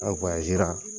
An